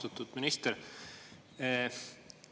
Austatud minister!